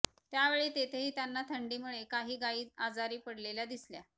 त्यावेळी तिथेही त्यांना थंडीमुळे काही गायी आजारी पडलेल्या दिसल्या